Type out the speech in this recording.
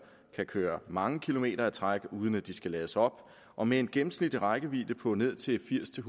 kan køre mange kilometer i træk uden at de skal lades op og med en gennemsnitlig rækkevidde på ned til firs til